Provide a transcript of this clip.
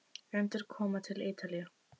Endurkoma til Ítalíu?